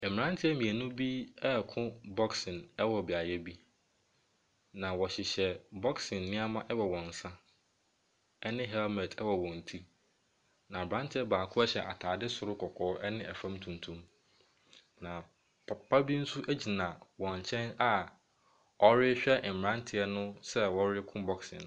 Mmeranteɛ mmienu reko boxing wɔ beaeɛ bi, na wɔhyehyɛ boxing nneɛma wɔ wɔn nsa, ɛne helmet wɔ wɔn ti, na aberanteɛ baako ahyɛ atade soro kɔkɔɔ ne fam tuntum, na papa bi nso gyina wɔn nkyɛn a wɔrehwɛ mmeranteɛ no sɛ wɔreko boxing.